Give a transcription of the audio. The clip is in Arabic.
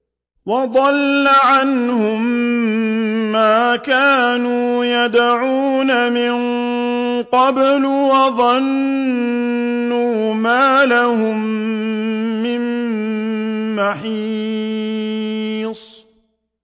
وَضَلَّ عَنْهُم مَّا كَانُوا يَدْعُونَ مِن قَبْلُ ۖ وَظَنُّوا مَا لَهُم مِّن مَّحِيصٍ